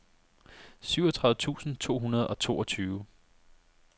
syvogtredive tusind to hundrede og toogtyve